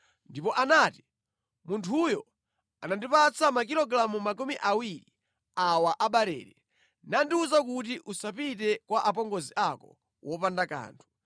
Ndipo anati, “Munthuyo anandipatsa makilogalamu makumi awiri awa a barele, nandiwuza kuti usapite kwa apongozi ako wopanda kanthu.”